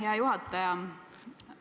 Hea juhataja!